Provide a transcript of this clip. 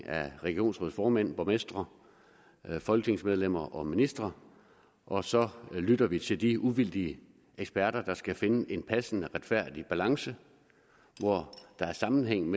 af regionsrådsformænd borgmestre folketingsmedlemmer og ministre og så lytter vi til de uvildige eksperter der skal finde en passende retfærdig balance hvor der er sammenhæng